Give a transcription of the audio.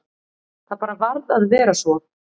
Það bara varð að vera svo.